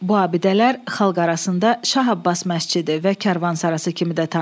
Bu abidələr xalq arasında Şah Abbas məscidi və karvansarası kimi də tanınır.